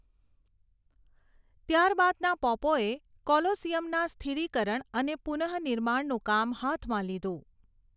ત્યાર બાદના પોપોએ કોલોસીયમના સ્થિરીકરણ અને પુન:નિર્માણનું કામ હાથમાં લીધું.